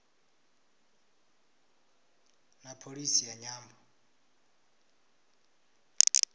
na pholisi ya nyambo